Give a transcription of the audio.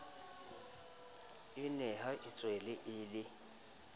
o nea itswele a le